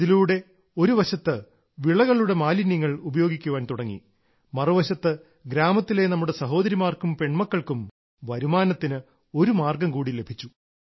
ഇതിലൂടെ ഒരു വശത്ത് വിളയുടെ മാലിന്യങ്ങൾ ഉപയോഗിക്കാൻ തുടങ്ങി മറുവശത്ത് ഗ്രാമത്തിലെ നമ്മുടെ സഹോദരിമാർക്കും പെൺമക്കൾക്കും വരുമാനത്തിന് ഒരു മാർഗ്ഗം കൂടി ലഭിച്ചു